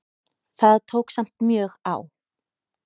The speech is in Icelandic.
Það tók samt mjög á.